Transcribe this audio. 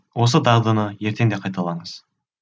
осы дағдыны ертең де қайталаңыз